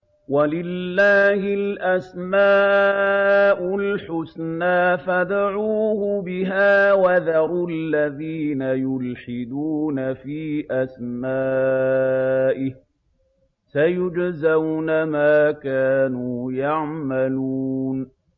وَلِلَّهِ الْأَسْمَاءُ الْحُسْنَىٰ فَادْعُوهُ بِهَا ۖ وَذَرُوا الَّذِينَ يُلْحِدُونَ فِي أَسْمَائِهِ ۚ سَيُجْزَوْنَ مَا كَانُوا يَعْمَلُونَ